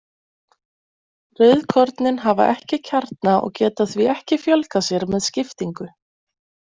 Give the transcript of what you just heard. Rauðkornin hafa ekki kjarna og geta því ekki fjölgað sér með skiptingu.